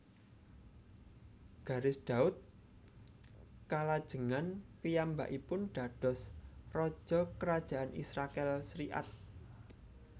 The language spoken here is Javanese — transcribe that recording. Garis Daud kalajengan piyambakipun dados raja Kerajaan Israèl serikat